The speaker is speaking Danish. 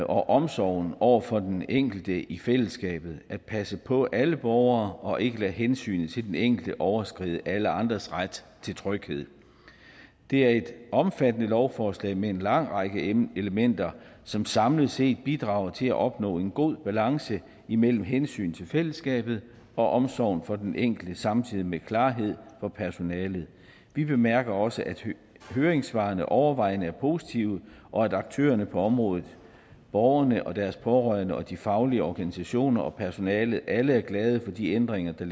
omsorgen over for den enkelte i fællesskabet og at passe på alle borgere og ikke lade hensynet til den enkelte overskride alle andres ret til tryghed det er et omfattende lovforslag med en lang række elementer som samlet set bidrager til at opnå en god balance imellem hensynet til fællesskabet og omsorgen for den enkelte samtidig med klarhed for personalet vi bemærker også at høringssvarene overvejende er positive og at aktørerne på området borgerne og deres pårørende og de faglige organisationer og personalet alle er glade for de ændringer der